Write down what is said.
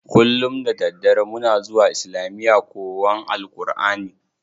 Kullum da daddare muna zuwa islamiya kowan AlƘurʼani.